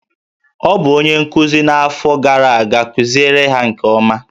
Ọ bụ onye nkuzi n'afọ gara aga, kuziere ha nke ọma!